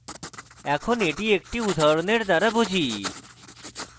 এখন এটি একটি উদাহরণ দ্বারা বুঝি